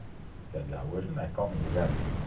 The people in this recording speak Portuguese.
Que ali, hoje não é calmo em lugar nenhum.